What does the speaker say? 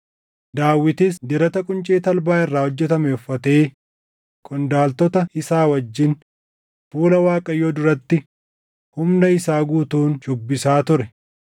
Daawitis Dirata quncee talbaa irraa hojjetame uffatee qondaaltota isaa wajjin fuula Waaqayyoo duratti humna isaa guutuun shuubbisa ture;